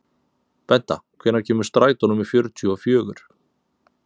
Benta, hvenær kemur strætó númer fjörutíu og fjögur?